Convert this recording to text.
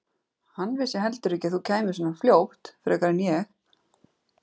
Hann vissi heldur ekki að þú kæmir svona fljótt frekar en ég.